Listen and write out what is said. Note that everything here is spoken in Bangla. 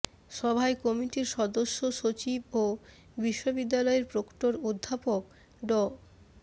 সভায় কমিটির সদস্য সচিব ও বিশ্ববিদ্যালয়ের প্রক্টর অধ্যাপক ড